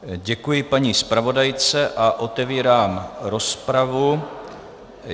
Děkuji paní zpravodajce a otevírám rozpravu.